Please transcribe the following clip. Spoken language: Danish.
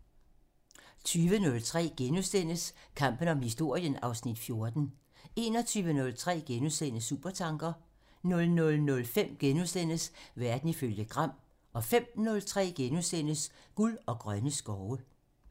20:03: Kampen om historien (Afs. 14)* 21:03: Supertanker (Afs. 40)* 00:05: Verden ifølge Gram (Afs. 40)* 05:03: Guld og grønne skove (Afs. 31)*